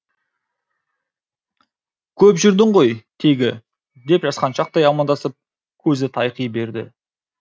көп жүрдің ғой тегі деп жасқаншақтай амандасып көзі тайқи берді